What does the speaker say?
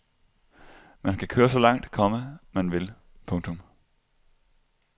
Man kan køre så langt, komma man vil. punktum